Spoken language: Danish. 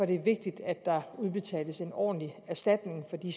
det vigtigt at der udbetales en ordentlig erstatning for de